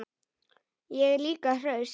Ég er líka hraust.